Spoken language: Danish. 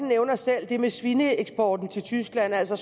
nævner selv det med svineeksporten til tyskland altså